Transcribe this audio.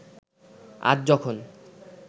আজ যখন